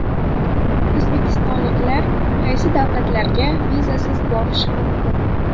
O‘zbekistonliklar qaysi davlatlarga vizasiz borishi mumkin?.